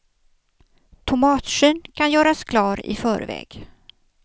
Tomatskyn kan göras klar i förväg.